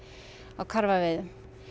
á karfaveiðum